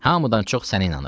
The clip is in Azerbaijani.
Hamıdan çox sənə inanıram.